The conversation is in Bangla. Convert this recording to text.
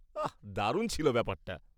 আহ! দারুণ ছিল ব্যাপারটা।